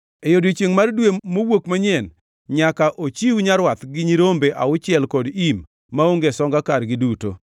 E odiechiengʼ mar Dwe Mowuok Manyien, nyaka ochiw nyarwath gi nyirombe auchiel kod im, maonge songa kargi duto.